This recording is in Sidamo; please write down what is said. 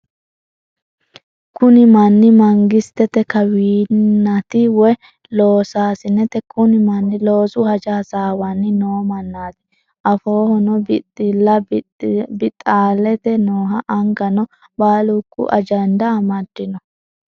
Kunni manni mangisite kawinati woyi losasineti. Kunni manni loosu hajja hassawanni noo manati afoohono bixalla bixaalite no angano baalunku ajanda amadino.